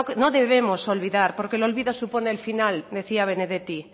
no debemos olvidar porque el olvido supone el final decía benedetti